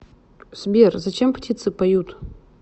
сбер зачем птицы поют